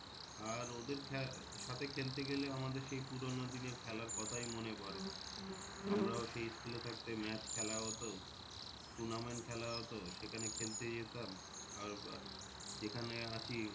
আর ওদের সাথে খেলতে গেলে আমাদের সেই পুরোনো দিনের খেলার কথাই মনে পরে আমরাও সেই school এ থাকতে match খেলা হতো। tournament খেলা হতো সেখানে খেলতে যেতাম। আর যেখানে আছি